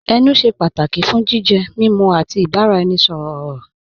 Ẹnù ṣẹ́ pátàkì fún jìjẹ, mímú, àti ìbàraẹnisọ̀rọ̀ ọ̀rọ̀.